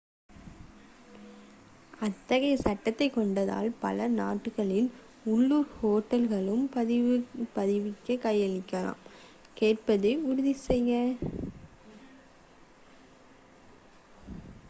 அத்தகைய சட்டத்தைக் கொண்ட பல நாடுகளில் உள்ளூர் ஹோட்டல்கள் பதிவைக் கையாளும் கேட்பதை உறுதிசெய்க